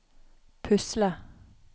pusle